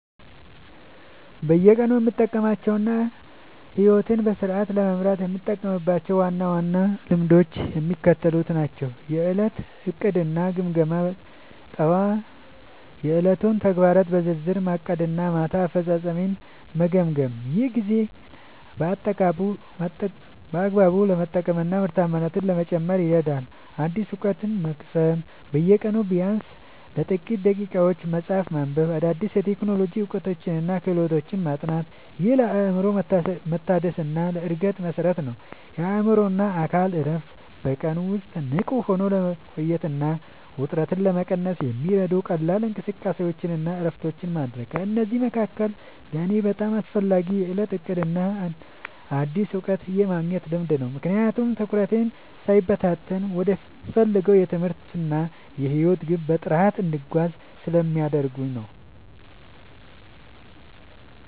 በየቀኑ የምጠብቃቸውና ሕይወቴን በስርዓት ለመምራት የምጠቀምባቸው ዋና ዋና ልማዶች የሚከተሉት ናቸው፦ የዕለት ዕቅድና ግምገማ፦ ጠዋት የዕለቱን ተግባራት በዝርዝር ማቀድና ማታ አፈጻጸሜን መገምገም። ይህ ጊዜን በአግባቡ ለመጠቀምና ምርታማነትን ለመጨመር ይረዳኛል። አዲስ እውቀት መቅሰም፦ በየቀኑ ቢያንስ ለጥቂት ደቂቃዎች መጽሐፍ ማንበብ፣ አዳዲስ የቴክኖሎጂ እውቀቶችንና ክህሎቶችን ማጥናት። ይህ ለአእምሮ መታደስና ለዕድገት መሠረት ነው። የአእምሮና አካል እረፍት፦ በቀን ውስጥ ንቁ ሆኖ ለመቆየትና ውጥረትን ለመቀነስ የሚረዱ ቀላል እንቅስቃሴዎችንና እረፍቶችን ማድረግ። ከእነዚህ መካከል ለእኔ በጣም አስፈላጊው የዕለት ዕቅድና አዲስ እውቀት የማግኘት ልማድ ነው፤ ምክንያቱም ትኩረቴ ሳይበታተን ወደምፈልገው የትምህርትና የሕይወት ግብ በጥራት እንድጓዝ ስለሚያደርጉኝ።